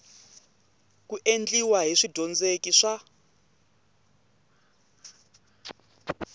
ku endliwa hi swidyondzeki swa